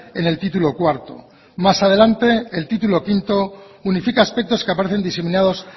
en el título cuarto más adelante el título quinto unifica aspectos que aparecen diseminados